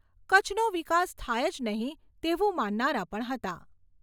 કચ્છનો વિકાસ થાય જ નહીંં તેવું માનનારા પણ હતા.